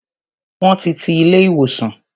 Won ti ti ilé ìwòsàn